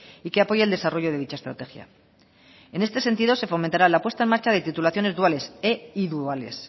y que apoya el desarrollo de dicha estrategia en este sentido se fomentará la puesta en marcha de titulaciones duales e iduales